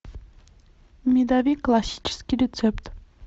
медовик классический рецепт